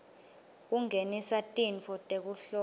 kungenisa tintfo tekuhlola